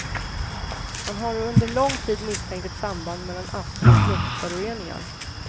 Man har under lång tid misstänkt ett samband mellan astma och luftföroreningar.